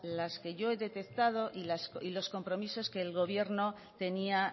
las que yo he detectado y los compromisos que el gobierno tenía